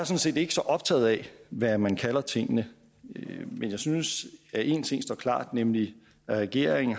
set ikke så optaget af hvad man kalder tingene men jeg synes at en ting står klart nemlig at regeringen